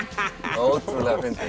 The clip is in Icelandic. ótrúlega fyndið